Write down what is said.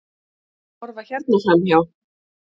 Horfa hérna framhjá!